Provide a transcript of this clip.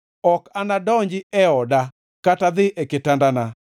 “Ok anadonji e oda, kata dhi e kitandana,